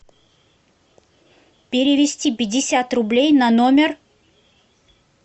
перевести пятьдесят рублей на номер